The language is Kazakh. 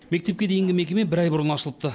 мектепке дейінгі мекеме бір ай бұрын ашылыпты